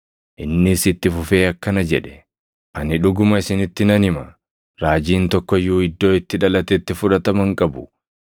Innis itti fufee akkana jedhe; “Ani dhuguma isinitti nan hima; raajiin tokko iyyuu iddoo itti dhalatetti fudhatama hin qabu.